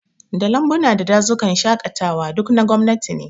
Da Lambuna da Dazukan shaƙatawa, duk na gwamnati ne